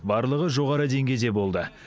барлығы жоғары деңгейде болды